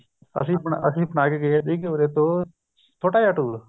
ਅੱਸੀ ਬਣਾਕੇ ਗਏ ਸੀ ਇੱਕ ਛੋਟਾ ਜਾਂ tour